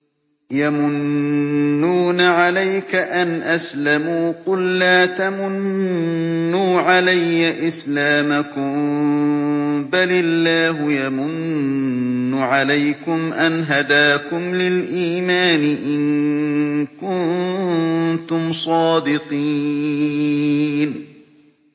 يَمُنُّونَ عَلَيْكَ أَنْ أَسْلَمُوا ۖ قُل لَّا تَمُنُّوا عَلَيَّ إِسْلَامَكُم ۖ بَلِ اللَّهُ يَمُنُّ عَلَيْكُمْ أَنْ هَدَاكُمْ لِلْإِيمَانِ إِن كُنتُمْ صَادِقِينَ